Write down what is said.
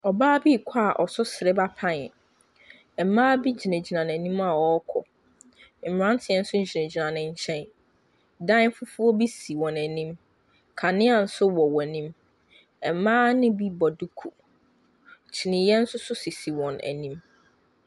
Ɔbaa bi rekɔ a ɔso sereba pan. Mmaa bi gyinagyina n'anim a wɔrekɔ. Mmeranteɛ nso gyingyin ne nkyɛn. Dan fufuo bi si wɔn anim. Kanea nso wɔ wɔn anim. Mmaa no bi bɔ duku. Kyiniiɛ nso so sisi wɔn anim.